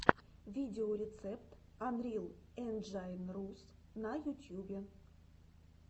видеорецепт анрил энджайн рус на ютьюбе